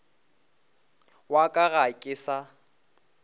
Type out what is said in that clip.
wa ka ga ke sa